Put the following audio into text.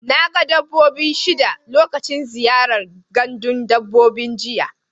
Na ga dabbobi shida lokacin ziyara gandun dabbobi jiya.